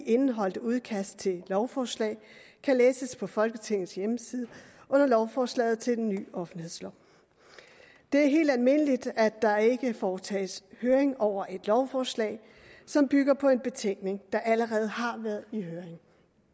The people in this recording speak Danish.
indeholdte udkast til lovforslag kan læses på folketingets hjemmeside under lovforslaget til den nye offentlighedslov det er helt almindeligt at der ikke foretages høringer over et lovforslag som bygger på en betænkning der allerede har været i høring